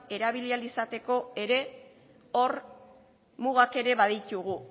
erabili ahal izateko ere hor mugak ere baditugu